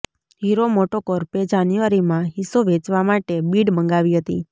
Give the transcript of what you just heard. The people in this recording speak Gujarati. હીરો મોટોકોર્પે જાન્યુઆરીમાં હિસ્સો વેચવા માટે બિડ મંગાવી હતી